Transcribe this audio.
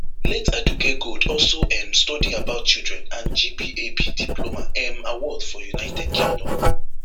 late aduke gold also um study about children and gbab diploma um award for united kingdom